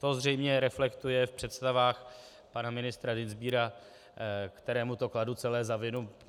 To zřejmě reflektuje v představách pana ministra Dienstbiera, kterému to kladu celé za vinu.